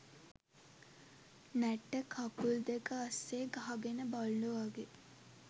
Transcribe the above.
නැට්ට කකුල් දෙක අස්සෙ ගහගෙන බල්ලො වගේ